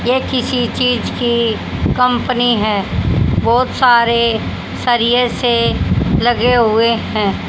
ये किसी चीज की कंपनी है बहुत सारे सरिए से लगे हुए हैं।